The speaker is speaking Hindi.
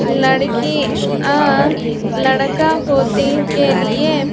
लड़की अः लड़का होते के लिए--